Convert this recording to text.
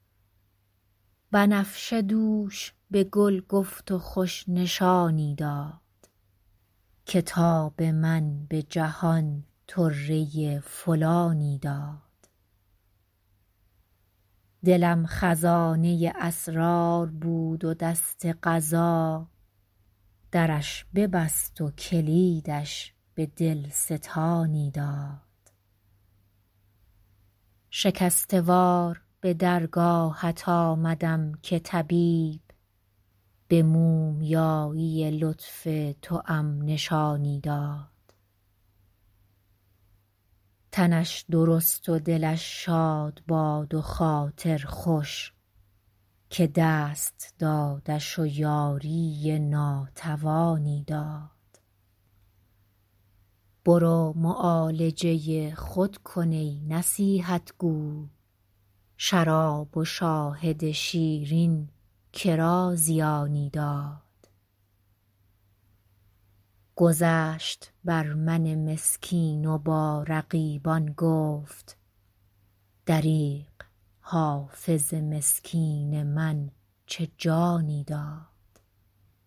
بنفشه دوش به گل گفت و خوش نشانی داد که تاب من به جهان طره فلانی داد دلم خزانه اسرار بود و دست قضا درش ببست و کلیدش به دل ستانی داد شکسته وار به درگاهت آمدم که طبیب به مومیایی لطف توام نشانی داد تنش درست و دلش شاد باد و خاطر خوش که دست دادش و یاری ناتوانی داد برو معالجه خود کن ای نصیحت گو شراب و شاهد شیرین که را زیانی داد گذشت بر من مسکین و با رقیبان گفت دریغ حافظ مسکین من چه جانی داد